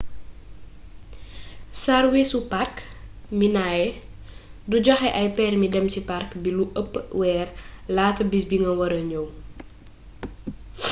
sarwiisu park minae du joxe ay permi dem ci park bi lu ëpp weer laata bis bi nga wara ñëw